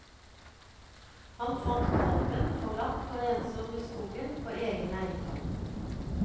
Han fant kalven forlatt og ensom i skogen på egen eiendom.